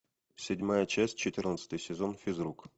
седьмая часть четырнадцатый сезон физрук